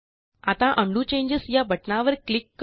आता undo changes या बटणावर क्लिक करू